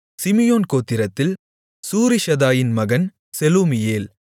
Simeon கோத்திரத்தில் சூரிஷதாயின் மகன் செலூமியேல்